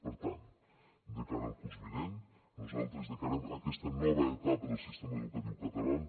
per tant de cara al curs vinent nosaltres encarem aquesta nova etapa del sistema educatiu català